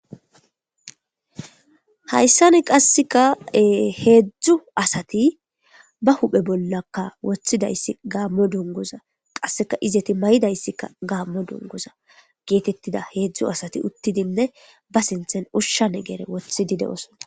Hayssani qassikka ee hedzdzu asti ba huuphe bollakka woththidayssi gaamo dunguuza. Qassekka izeti mayidayskka gaamo dunguuza geetetida hedzdzu asati uttidinne ba sinththen ushsha negere woththidi de7oosona.